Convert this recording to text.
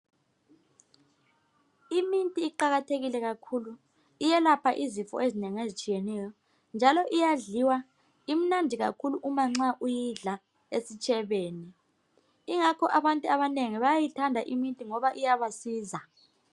Iminti iqakathekile kakhulu iyelapha izifo ezinengi ezitshiyeneyo njalo iyadliwa imnandi kakhulu uma nxa uyidla esitshebeni ingakho abantu abanengi bayayithanda iminti ngoba iyabasiza.